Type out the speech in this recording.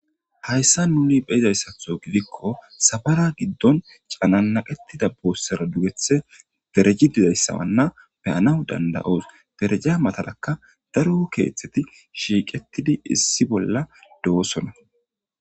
hayssa nuni beizayssatho gidikko safara giddon canannaqetida boossera dugethe dereji dizayssawanna beyanaw danda7oos dereja matarakka daru keeththeti shiiqettidi issi bolla do7osona